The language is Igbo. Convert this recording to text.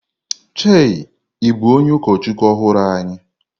Chei, ị bụ onye ụkọchukwu ọhụrụ anyị?